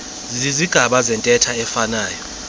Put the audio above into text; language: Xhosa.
zizigaba zentetho eziifanayo